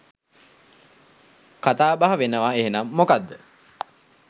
කතාබහ වෙනවාඑහෙනම් මොකද්ද?